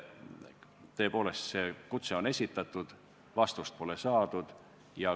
Tõepoolest, see kutse on esitatud, aga vastust pole saadud.